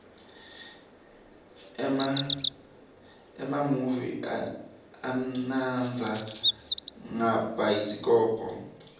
emamuvi amnandza ngabhayisikobho